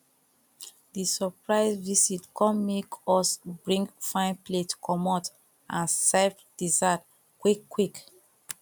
the surprise visit come make us bring fine plate commot and serve dessert quick quick